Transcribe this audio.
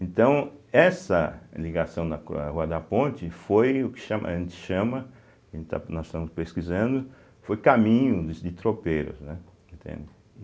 Então, essa ligação na co eh Rua da Ponte foi o que chama a gente chama, nós estamos pesquisando, foi caminho de de tropeiros, né? Entende